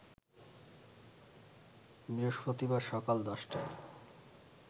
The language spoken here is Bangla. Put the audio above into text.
বৃহস্পতিবার সকাল ১০টায়